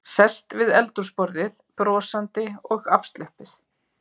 Sest við eldhúsborðið, brosandi og afslöppuð.